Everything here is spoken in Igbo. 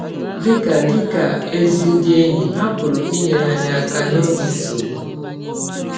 Dị ka Dị ka ‘ ezi ndị enyi, ha pụrụ inyere anyị aka n’ọge nsọgbụ.